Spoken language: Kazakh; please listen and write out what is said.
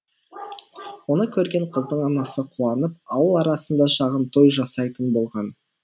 оны көрген қыздың анасы қуанып ауыл арасында шағын той жасайтын болған